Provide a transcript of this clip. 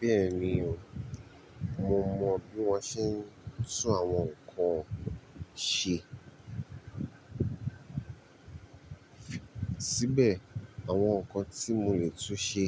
Bẹ́ẹ̀ni o, mo mọ bí wọ́n ṣe ń tún àwọn nǹkan ṣe. Síbẹ̀ àwọn nǹkan tí mo lè tún ṣe,